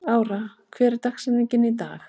Ára, hver er dagsetningin í dag?